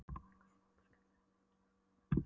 Lækurinn var aldrei kallaður neitt annað en Bæjarlækur.